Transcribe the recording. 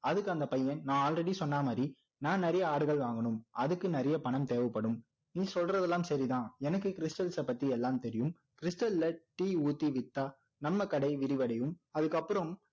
அதுக்கு அந்த பையன் நான் already சொன்ன மாதிரி நான் நிறைய ஆடுகள் வாங்கனும் அதுக்கு நிறைய பணம் தேவைப்படும் நீ சொல்றது எல்லாம் சரி தான் எனக்கு stals அ பத்தி எல்லாம் தெரியும் stal ல tea ஊத்தி விற்றா நம்ம கடை விரிவடையும் அதுக்கப்புறம்